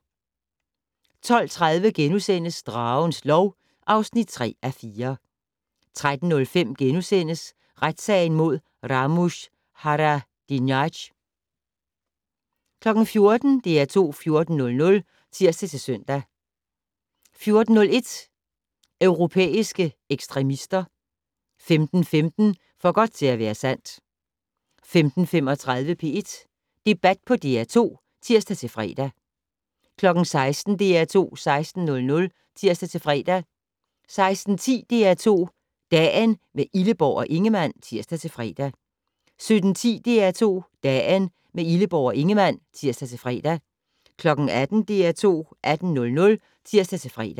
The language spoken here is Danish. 12:30: Dragens lov (3:4)* 13:05: Retssagen mod Ramush Haradinaj * 14:00: DR2 14:00 (tir-søn) 14:01: Europæiske ekstremister 15:15: For godt til at være sandt 15:35: P1 Debat på DR2 (tir-fre) 16:00: DR2 16:00 (tir-fre) 16:10: DR2 Dagen - med Illeborg og Ingemann (tir-fre) 17:10: DR2 Dagen - med Illeborg og Ingemann (tir-fre) 18:00: DR2 18:00 (tir-fre)